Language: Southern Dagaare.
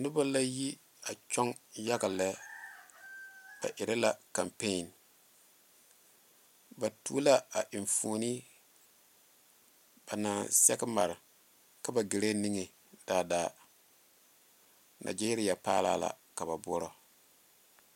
Noba la yi a tɔge yaga lɛ ba erɛ la kanpiine ba tuo la a enfuune a naŋ sɛge mare ka ba gaare niŋe daadaa Nigeria paalaa la ka ba boɔrɔ.